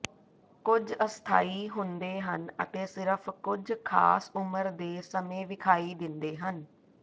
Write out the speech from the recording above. ਕੁਝ ਅਸਥਾਈ ਹੁੰਦੇ ਹਨ ਅਤੇ ਸਿਰਫ ਕੁਝ ਖਾਸ ਉਮਰ ਦੇ ਸਮੇਂ ਵਿਖਾਈ ਦਿੰਦੇ ਹਨ